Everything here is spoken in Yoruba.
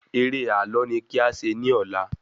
Eré ààlọ́ ni kí a ṣe ní ọ̀la